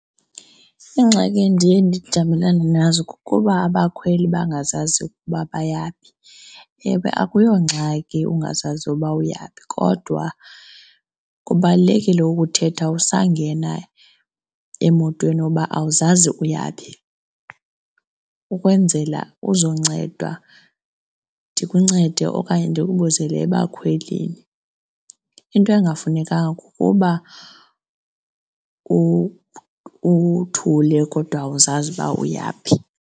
Iingxaki endiye ndijamelene nazo kukuba abakhweli bangazazi ukuba bayaphi. Ewe, akuyongxaki ungazazi uba uyaphi kodwa kubalulekile ukuthetha usangena emotweni uba awuzazi uyaphi ukwenzela uzowunceda ndikuncede okanye ndikubizele ebakhwelini. Into ekungafunekanga kukuba uthule kodwa awuzazi uba uyaphi.